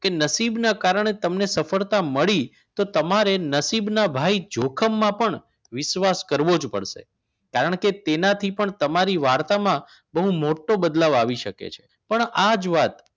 કે નસીબના કારણે જ તમને સફળતા મળી તો તમારે નસીબના ભાઈ જોખમને પણ વિશ્વાસ કરવો જ પડશે કારણ કે તેનાથી પણ તમારી વાર્તામાં બહુ મોટો બદલાવ આવી શકે છે પણ આ જ વાત